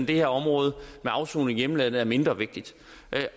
det her område med afsoning i hjemlandet er mindre vigtigt